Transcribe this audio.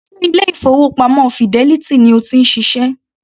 Ṣe ilé-ìfowópamọ́ Fidelity ni o ti ń ṣiṣẹ́?